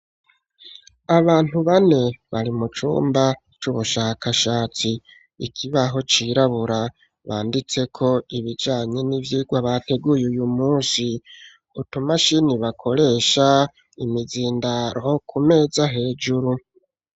Abantu bane bari mu cumba c'ubushakashatsi Ikibaho cirabura banditseko ibijanye n'ivyigwa bateguye uyu munsi . Utumashini bakoresha , imizindaro kumeza hejuru.